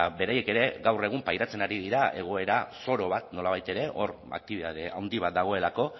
ba beraiek ere gaur egun pairatzen ari dira egoera zoro bat nolabait ere hor aktibitate handi bat dagoelako